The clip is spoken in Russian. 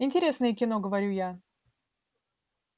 интересное кино говорю я